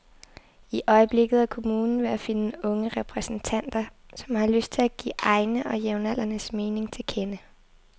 I øjeblikket er kommunen ved at finde unge repræsentanter, som har lyst til at give egne og jævnaldrendes mening til kende.